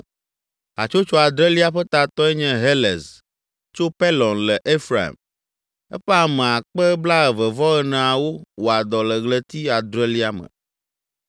Hatsotso adrelia ƒe tatɔe nye Helez tso Pelɔn le Efraim. Eƒe ame akpe blaeve-vɔ-eneawo (24,000) wɔa dɔ le ɣleti adrelia me.